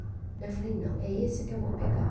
Daí eu falei, não, é esse que eu vou pegar.